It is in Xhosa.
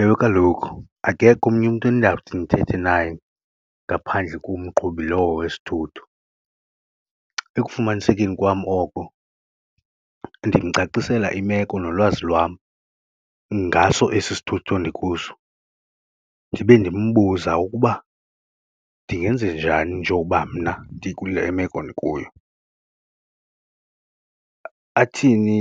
Ewe, kaloku akekho omnye umntu endiyawuthi ndithethe naye ngaphandle komqhubi lowo wesithutho. Ekufumanisekeni kwam oko ndimcacisela imeko nolwazi lwam ngaso esi sithutho ndikuso ndibe ndimbuza ukuba ndingenza njani njoba mna ndikule meko ndikuyo, athini